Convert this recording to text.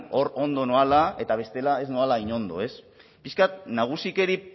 hor ondo noala eta bestela ez noala hain ondo ez pixka bat nagusikeri